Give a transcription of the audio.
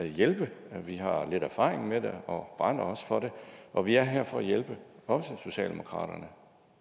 hjælpe vi har lidt erfaring med det og brænder også for det og vi er her for at hjælpe også socialdemokratiet